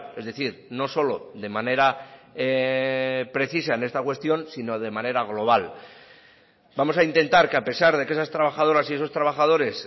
es decir no solo de manera precisa en esta cuestión sino de manera global vamos a intentar que a pesar de que esas trabajadoras y esos trabajadores